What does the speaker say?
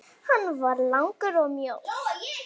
Hann var langur og mjór.